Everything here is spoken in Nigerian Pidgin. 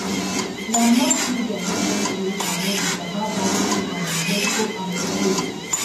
na mass media help us create awareness about dat free um medical outreach wey we do